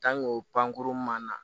o pankurun ma na